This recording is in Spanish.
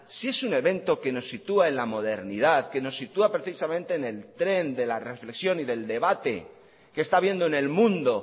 si es un evento que nos sitúa en la modernidad que nos sitúa precisamente en el tren de la reflexión y del debate que está habiendo en el mundo